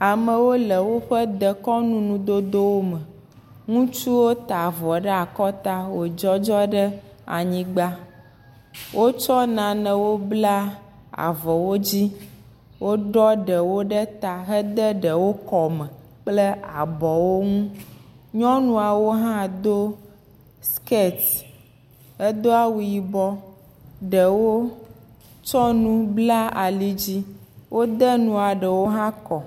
Amewo le woƒe dekɔnuŋudodo me. Ŋutsuwo ta avɔ ɖe akɔta wodzɔdzɔ ɖe anyigba. Wotsɔ nanewo bla avɔ wo dzi. Woɖɔ ɖe ɖe ta hede ɖewo kɔme kple abɔwo ŋu. Nyɔnuawo hã do skirt eɖewo do awu yibɔ. Eɖewo tsɔ nu bla ali dzi. Wode nua ɖewo hã kɔ.